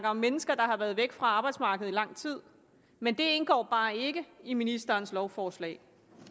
om mennesker der har været væk fra arbejdsmarkedet i lang tid men det indgår bare ikke i ministerens lovforslag